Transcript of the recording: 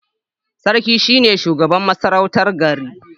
Sarki shine shugaban masarautar gari